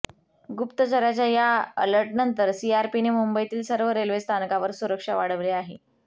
गुप्तचरच्या या अलर्टनंतर सीआरपीने मुंबईतील सर्व रेल्वे स्थानकावर सुरक्षा वाढवली आहे